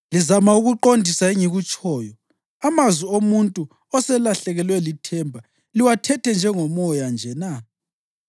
Lizama ukuqondisa engikutshoyo, amazwi omuntu oselahlekelwe lithemba liwathethe njengomoya nje na?